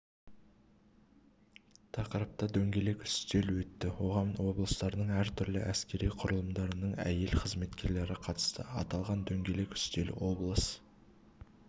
тақырыпта дөңгелек үстел өтті оған облыстың әртүрлі әскери құрылымдарының әйел-қызметкерлері қатысты аталған дөңгелек үстел облыс